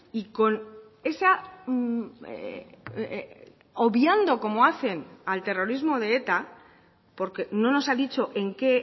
y con esa obviando como hacen al terrorismo de eta porque no nos ha dicho en qué